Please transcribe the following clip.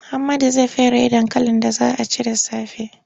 Muhammadu zai feraye dankalin da za a ci da safe.